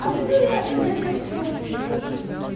а приду я где-то часов восемь